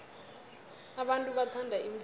abantu bathanda imvelo